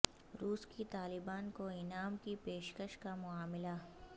روس کی طالبان کو انعام کی پیش کش کا معاملہ